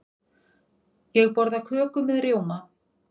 Ég borða köku með rjóma.